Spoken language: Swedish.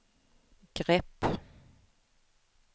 grepp